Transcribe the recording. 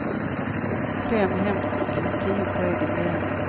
Fem hemskickade, tio på egen begäran.